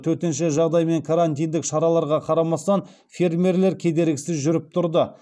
төтенше жағдай мен карантиндік шараларға қарамастан фермерлер кедергісіз жүріп тұрды